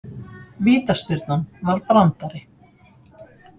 Vítaspyrnan var brandari